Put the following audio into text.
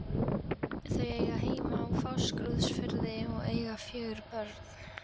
Þau eiga heima á Fáskrúðsfirði og eiga fjögur börn.